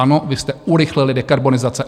Ano, vy jste urychlili dekarbonizaci.